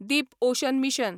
Deep ocean mission